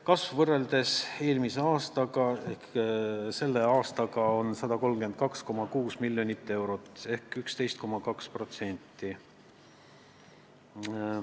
Kasv võrreldes selle aastaga on 132,6 miljonit eurot ehk 11,2%.